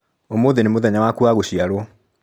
ũmũthĩ nĩ mũthenya waku wa gũciarwo.